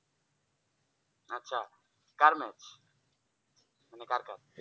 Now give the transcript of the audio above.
কার match মানে কার কার